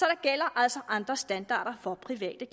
gælder altså andre standarder for private